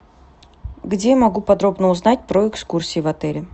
где я могу подробно узнать про экскурсии в отеле